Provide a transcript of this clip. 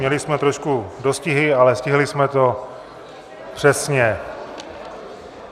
Měli jsme trošku dostihy, ale stihli jsme to přesně.